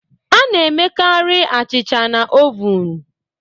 A na-emekarị achịcha na ovun